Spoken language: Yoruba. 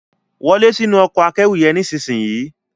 Wo lẹ sínú Ọkọ̀ akẹ́rù yen nísìsiyìí!